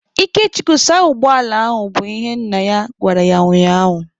Ikechukwu saa ụgbọala ahụ! bụ ihe nna ya gwara ya ụnyaahụ.